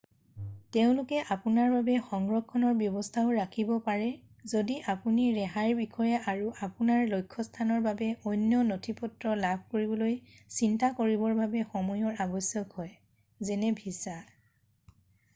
তেওঁলোকে আপোনাৰ বাবে সংৰক্ষণৰ ব্যৱস্থাও ৰাখিব পাৰে যদি আপুনি ৰেহাইৰ বিষয়ে আৰু আপোনাৰ লক্ষ্যস্থানৰ বাবে অন্য নথিপত্ৰ লাভ কৰিবলৈ চিন্তা কৰিবৰ বাবে সময়ৰ আৱশ্যক হয় যেনে ভিছা।